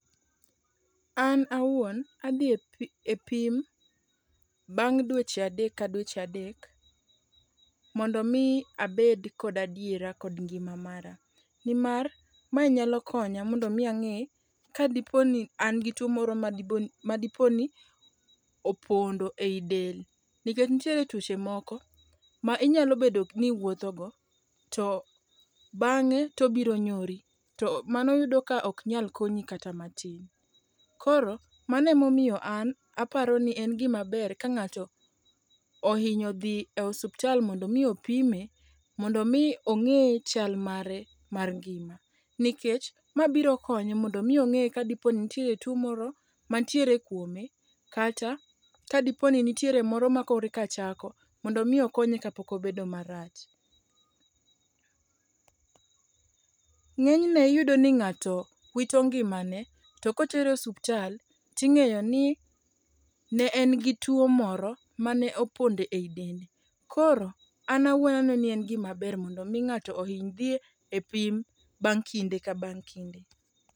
An awuon adhi e pim bang' dweche adek ka dweche adek mondo mi abed kod adiera kod ngima mara. Nimar ma nyalo konya mondo mi ang'e kadiponi an gi tuo moro madiponi opondo ei del. Nikech nitiere tuioche moko ma inyalo bedo ni iwuothogo, to bang'e to obiro nyori. To mano yudo ka ok nyal konyi kata matin. Koro mano emomiyo an aparo ni en gima ber ka ng'ato ohinyo dhi e osiptal mondo mi opime mondo mi ong'e chal mare mar ngima. Nikech ma biro konye mondo mi ong'e kadipo ni nitie tuo moro mantiere kuome, kata kanitiere moro ma koro eka chako, mondo mi okonye kapok obedo marach. ng'eny ne iyudo ni ng'ato wito ngimane to ka otere osiptal ting'eyo ni ne en gituo moro mane opondo ei dende. Koro an aweyo ni en gima ber mondo mi ng'ato ohiny dhi e pim bang' kinde ka bang' kinde.